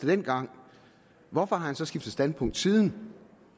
dengang hvorfor har han så skiftet standpunkt siden